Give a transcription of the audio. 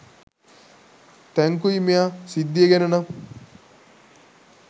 thank you මෙයා සිද්දිය ගැන නම්